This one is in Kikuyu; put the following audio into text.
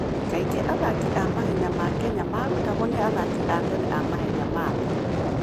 Kaingĩ athaki a mahenya ma Kenya marutagwo nĩ athaki a tene a mahenya ma thĩ.